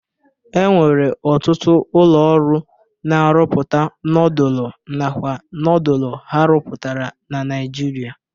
E nwere ọtụtụ ụlọ ọrụ na-arụpụta nodulu nakwa nodulu ha rụpụtara na Naịjirịa.